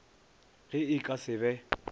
ge e ka se be